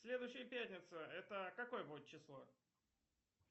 следующая пятница это какое будет число